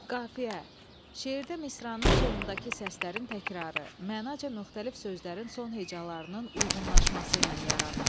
Qafiyə, şeirdə misranın sonundakı səslərin təkrarı, mənaca müxtəlif sözlərin son hecalarının uyğunlaşması ilə yaranır.